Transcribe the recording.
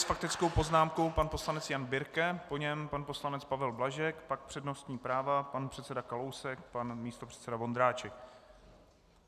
S faktickou poznámkou pan poslanec Jan Birke, po něm pan poslanec Pavel Blažek, pak přednostní práva: pan předseda Kalousek, pan místopředseda Vondráček.